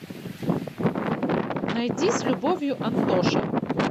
найди с любовью антоша